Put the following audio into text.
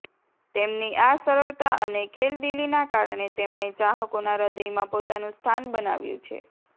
તેમની આ સરળતા અને ખેલદીલીના કારણે તેમણે ચાહકોના હદયમાં પોતાનું સ્થાન બનાવ્યુ છે